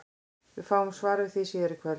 Við fáum svar við því síðar í kvöld!